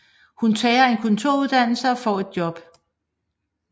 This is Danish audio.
Hun tager en kontoruddannelse og får et job